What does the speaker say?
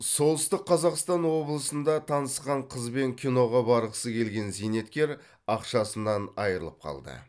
солтүстік қазақстан облысында танысқан қызбен киноға барғысы келген зейнеткер ақшасынан айырылып қалды